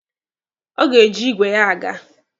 Ọ ga-eji igwe ya aga.